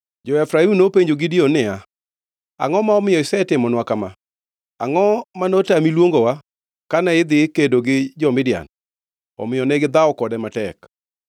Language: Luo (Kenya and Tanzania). Jo-Efraim nopenjo Gideon niya, “Angʼo ma omiyo isetimonwa kama? Angʼo ma notami luongowa kane idhi kedo gi jo-Midian?” Omiyo negidhawo kode matek.